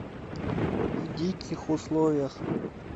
в диких условиях